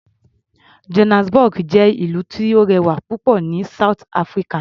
Johannesburg jẹ́ ìlú tó rẹwà púpọ̀ ní South Africa.